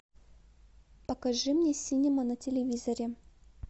покажи мне синема на телевизоре